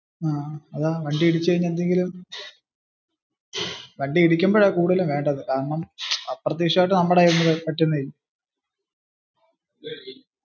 ആഹ് അതാ വണ്ടി ഇടിക്കുമ്പോഴാ കൂടുതൽ വേണ്ടത്. കാരണം അപ്രത്യക്ഷ്യമായിട് നമ്മുടെ കൈയിൽ നിന്ന് പറ്റുന്നതല്ലേ.